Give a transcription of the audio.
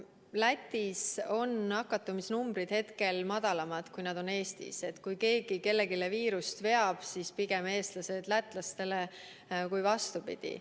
Lätis on nakatumisnumbrid hetkel väiksemad, kui nad on Eestis, nii et kui keegi kellelegi viirust veab, siis pigem eestlased lätlastele kui vastupidi.